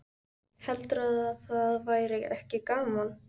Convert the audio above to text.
Heldurðu að það væri ekki gaman?